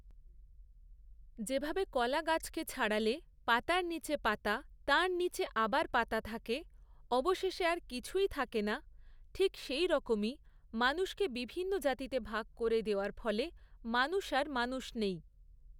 যেভাবে কলা গাছকে ছাড়ালে পাতার নীচে পাতা তার নীচে আবার পাতা থাকে, অবশেষে আর কিছুই থাকেনা, ঠিক সেইরকমই মানুষকে বিভিন্ন জাতিতে ভাগ করে দেওয়ার ফলে মানুষ আর মানুষ নেই।